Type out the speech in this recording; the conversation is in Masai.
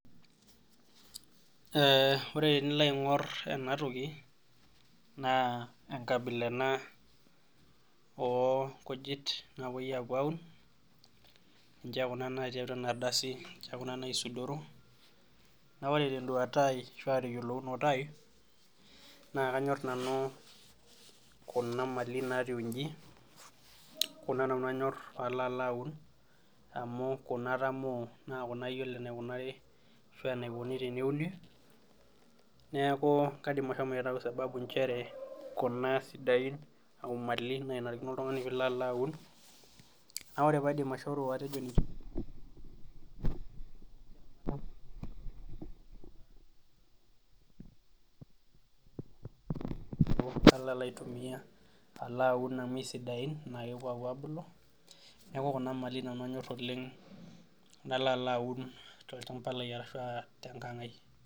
Ore tenilo aingor ena toki naa enkabila ena oonkujit naapoi apuo aun ,ninche kuna natii atua ena ardasi ninche kuna naisudoro na ore tenduata ai ashua teyiolounoto ai naa kanyor nanu kuna amali naatiu inji, kuna nanu anyor pee alo aun amu Kuna nanu atamoo naa Kuna ayiolo enikunari ashu enikoni teneuni ,neeku kaidim ashomo aitayu sababu nchere kuna siadain oomali naanarikono oltungani pee ilo alo aun ,neeku kalo alo aun amu keisidain kepuo apuo abulu, neeku Kuna mali nanu anyor oleng nalo alo aun tolchampa lai ashu tenkanga ai .